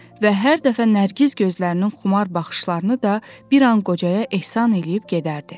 Və hər dəfə Nərgiz gözlərinin xumar baxışlarını da bir an qocaya ehsan eləyib gedərdi.